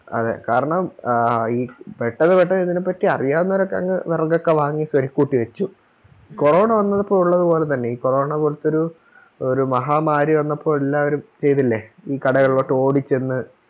അതെ കാരണം ആ ഈ പെട്ടന്ന് പെട്ടന്ന് ഇതിനെ പറ്റി അറിയാവുന്നവരൊക്കെ അങ് വെറകൊക്കെ വാങ്ങി സ്വരുക്കൂട്ടി വെച്ചു കൊറോണ വന്നപ്പോ ഉള്ളത് പോലെ തന്നെ ഈ കൊറോണ പോലത്തൊരു ഒരു മഹാ മാരി വന്നപ്പോ എല്ലാവരും ചെയ്തില്ലെ ഈ കടകളിലോട്ടോടി ചെന്ന്